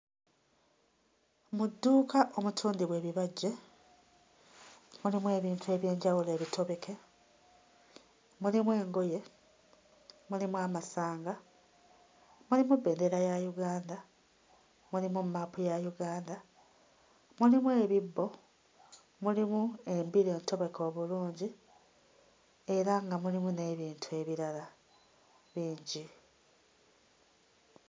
Mu dduuka omutundibwa ebibajje mulimu ebintu eby'enjawulo ebitobeke, mulimu engoye, mulimu amasanga, mulimu bbendera ya Uganda, mulimu mmaapu ya Uganda, mulimu ebibbo, mulimu embira entobeke obulungi era nga mulimu n'ebintu ebirala bingi.